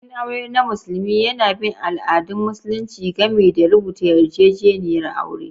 Bikin aure na musulmi yana bin al'adun Musulunci, gami da rubuta yarjejeniyar aure.